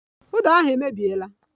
Uda ahụ emebiela